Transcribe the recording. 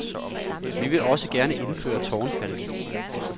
Vi vil også gerne indføre tårnfalke.